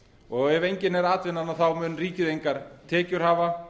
og ef engin er atvinnan mun ríkið engar tekjur hafa